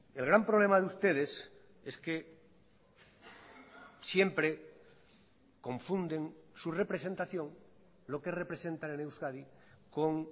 el gran problema de ustedes es que siempre confunden su representación lo que representan en euskadi con